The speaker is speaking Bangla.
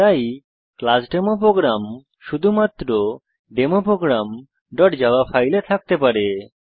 তাই ক্লাস ডেমো প্রোগ্রাম শুধুমাত্র ডেমো programজাভা ফাইলে থাকতে পারে